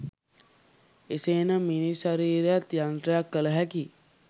එසේ නම් මිනිස් ශරීරයත් යන්ත්‍රයක් කල හැකි